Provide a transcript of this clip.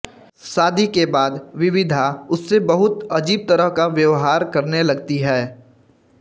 शादी के बाद विविधा उससे बहुत अजीब तरह का व्यवहार करने लगती है